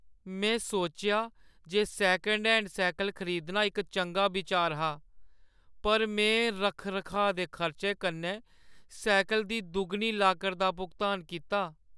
मैं सोचेआ जे सेकंड हैंड सैह्कल खरीदना इक चंगा बिचार हा पर में रक्ख-रखाऽ दे खर्चे कन्नै सैह्कल दी दुगनी लागत दा भुगतान कीता।